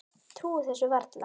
Trúir þessu varla.